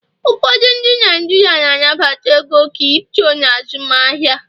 ụfọdụ ndị Naijiria na-anabata ego Kripto na azụmahịa